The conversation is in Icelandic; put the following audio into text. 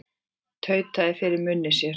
Tautaði fyrir munni sér.